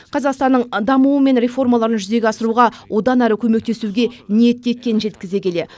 қазақстанның дамуы мен реформаларын жүзеге асыруға одан әрі көмектесуге ниетті екенін жеткізе келе